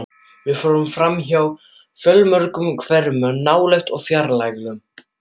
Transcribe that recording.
Við fórum framhjá fjölmörgum hverum, nálægum og fjarlægum.